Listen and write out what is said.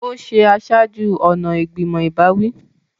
Ó ṣe aṣáájú-ọ̀nà ìgbìmọ̀ ìbáwí.